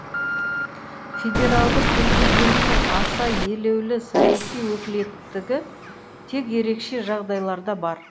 федералды президенттің аса елеулі саяси өкілеттігі тек ерекше жағдайларда бар